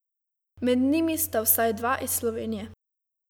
Med njimi sta vsaj dva iz Slovenije.